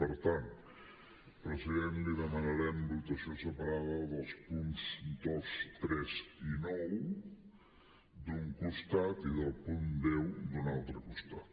per tant president li demanarem votació separada dels punts dos tres i nou d’un costat i del punt deu d’un altre costat